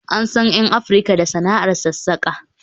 An san 'yan Afirka da sana'ar sassaƙa